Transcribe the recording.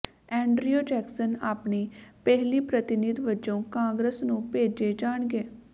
Andrew Jackson ਆਪਣੀ ਪਹਿਲੀ ਪ੍ਰਤੀਨਿਧ ਵਜੋਂ ਕਾਂਗਰਸ ਨੂੰ ਭੇਜੇ ਜਾਣਗੇ